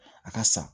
A ka san